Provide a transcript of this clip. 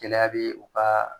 Gɛlɛya bɛ u ka